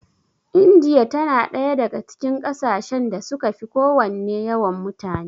Indiya tana ɗaya daga cikin ƙasashen da suka fi kowanne yawan mutane.